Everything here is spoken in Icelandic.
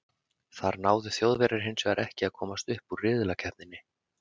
þar náðu þjóðverjar hins vegar ekki að komast upp úr riðlakeppninni